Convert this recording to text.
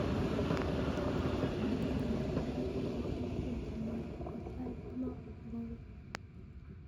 sait ata en kenya yon sait nebo oriit en somalia ko sait lo nebo beet